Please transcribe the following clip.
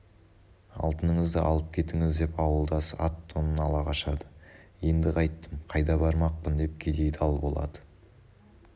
алтыныңызды алып кетіңіз деп ауылдасы ат-тонын ала қашады енді қайттім қайда бармақпын деп кедей дал болады